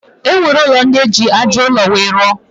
E nwere ụlọ ndị e ji aja ụlọ wee rụọ.